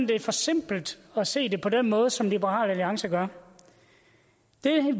det er for simpelt at se det på den måde som liberal alliance gør det